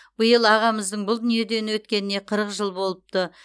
биыл ағамыздың бұл дүниеден өткеніне қырық жыл болыпты